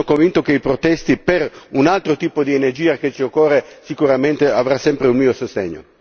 Io sono convinto che le proteste per un altro tipo di energia che ci occorre sicuramente avranno sempre il mio sostegno.